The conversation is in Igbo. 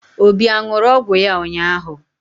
Obi a ṅụrụ ọgwụ ya ụnyaahụ?